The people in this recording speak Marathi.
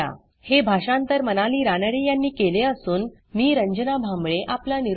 हे भाषांतर मनाली रानडे यांनी केले असून मी रंजना भांबळे आपला निरोप घेते